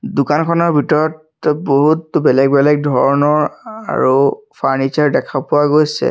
দোকানখনৰ ভিতৰত বহুত বেলেগ বেলেগ ধৰণৰ আ আ আৰু ফাৰ্ণিচাৰ দেখা পোৱা গৈছে।